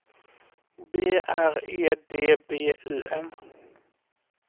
B R E D B Y N